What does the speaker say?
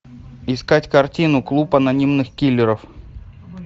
искать картину клуб анонимных киллеров